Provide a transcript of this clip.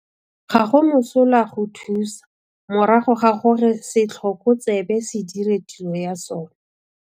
Ga go mosola go thusa morago ga gore setlhoko tsebe se dire tiro ya sona.